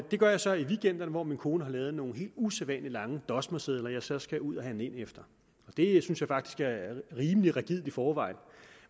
det gør jeg så i weekenderne hvor min kone har lavet nogle helt usædvanligt lange dosmersedler jeg så skal ud at handle ind efter det synes jeg faktisk er rimelig rigidt i forvejen